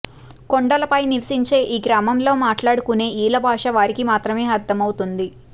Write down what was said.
కొండలపై నివసించే ఈ గ్రామంలో మాట్లాడుకునే ఈల భాష వారికి మాత్రమే అర్థమవుతుంది